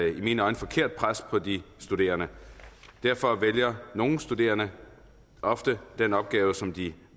i mine øjne forkert pres på de studerende og derfor vælger nogle studerende ofte den opgave som de